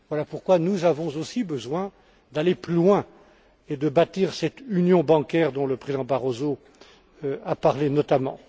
Voilà pourquoi nous avons aussi besoin d'aller plus loin et de bâtir cette Union bancaire dont le Président Barroso a parlé, notamment.